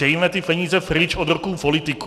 Dejme ty peníze pryč od rukou politiků.